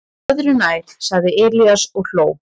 """Öðru nær, sagði Elías og hló."""